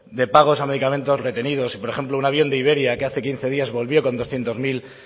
de pagos a medicamentos retenidos y por ejemplo un avión de iberia que hace quince días volvió con doscientos mil